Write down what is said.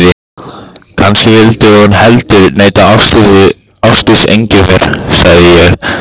Kannski vildi hún heldur heita Ásdís Engifer, sagði ég.